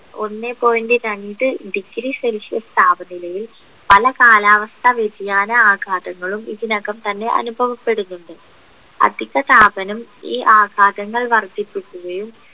ഒന്നേ point രണ്ട് degree celsius താപനിലയിൽ പല കാലാവസ്ഥ വ്യതിയാന ആഘാതങ്ങളും ഇതിനകം തന്നെ അനുഭവപ്പെടുന്നുണ്ട് അധിക താപനം ഈ ആഘാതങ്ങൾ വർധിപ്പിക്കുകയും